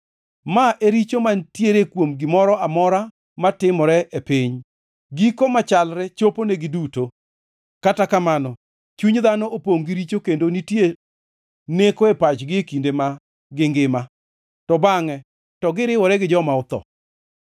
Ma e richo mantiere kuom gimoro amora matimore e piny: Giko machalre choponegi duto. Kata kamano, chuny dhano opongʼ gi richo kendo nitie neko e pachgi e kinde ma gingima, to bangʼe to giriwore gi joma otho.